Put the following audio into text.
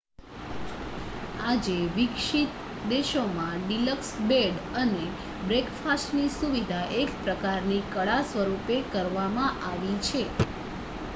આજે વિકસિત દેશોમાં ડિલક્સ બેડ અને બ્રેકફાસ્ટની સુવિધા એક પ્રકારની કળા સ્વરૂપે કરવામાં આવી છે